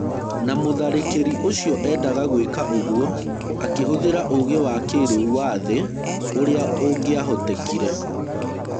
Na mũtharĩkĩri ũcio endaga gwĩka ũguo akĩhũthĩra ũũgĩ wa kĩrĩu wa thĩ ũrĩa ũngĩahotekire.